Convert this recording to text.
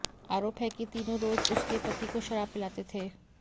आरोप है कि तीनों रोज उसके पति को शराब पिलाते थे